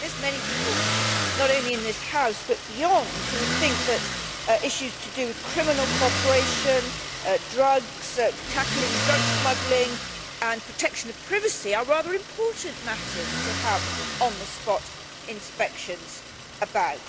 I think there are many people not only in this House but beyond who would think that issues to do with criminal cooperation, drugs, tackling drug smuggling and protection of privacy are rather important matters to have on the spot inspections about.